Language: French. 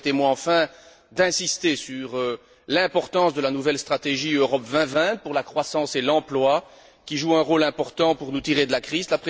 Permettez moi, enfin, d'insister sur l'importance de la nouvelle stratégie Europe 2020 pour la croissance et l'emploi, qui joue un rôle important pour nous tirer de la crise.